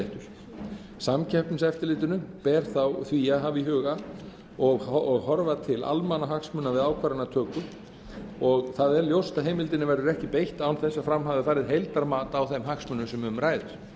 neytendaréttur samkeppniseftirlitinu ber því að hafa í huga og horfa til almannahagsmuna við ákvarðanatöku og það er ljóst að heimildinni verður ekki beitt án þess að fram hafi farið heildarmat á þeim hagsmunum sem